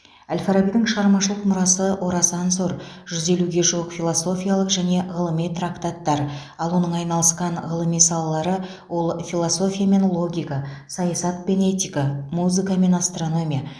әл фарабидің шығармашылық мұрасы орасан зор жүз елуге жуық философиялық және ғылыми трактаттар ал оның айналысқан ғылыми салалары ол философия мен логика саясат пен этика музыка мен астрономия